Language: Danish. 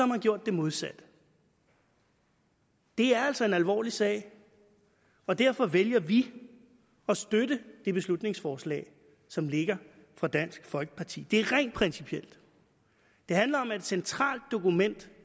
man gjort det modsatte det er altså en alvorlig sag og derfor vælger vi at støtte det beslutningsforslag som ligger fra dansk folkeparti side det er rent principielt det handler om et centralt dokument